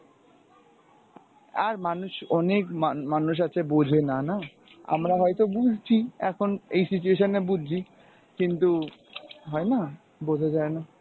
আর মানুষ অনেক মান~ মানুষ আছে বোঝে না না আমরা হয়ত বুঝছি এখন এই situation এ বুঝছি কিন্তু হয়না বোঝা যায় না।